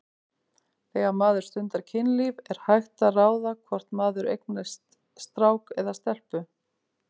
Þegar maður stundar kynlíf er hægt að ráða hvort maður eignast strák eða stelpu?